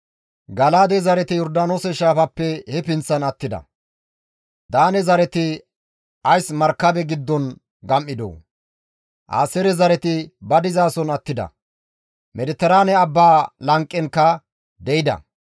Gala7aade zareti Yordaanoose shaafappe he pinththan attida; Daane zareti ays markabe giddon gam7idoo? Aaseere zareti ba dizason attida; Mediteraane abbaa lanqenkka de7ida.